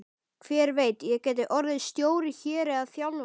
Hver veit, ég gæti orðið stjóri hér eða þjálfari?